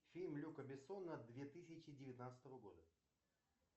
фильм люка бессона две тысячи девятнадцатого года